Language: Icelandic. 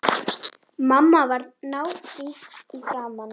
Hvar sem hann sofnar.